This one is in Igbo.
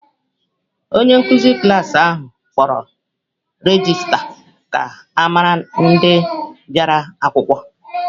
Onye nkụzi klas ahụ kpọrọ regista ka ọ mara ndị bịara akwụkwọ.